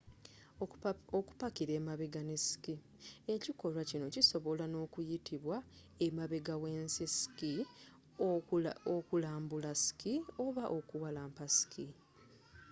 okupakira emabega ne ski ekikolwa kino kisobola n'okuyitibwa emabega w'ensi ski okulambula ski oba okuwalampa ski